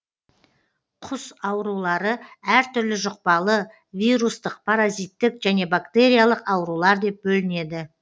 құс аурулары әр түрлі жұқпалы вирустық паразиттік және бактериялық аурулар деп бөлінеді